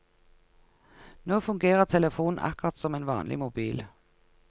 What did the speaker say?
Nå fungerer telefonen akkurat som en vanlig mobil.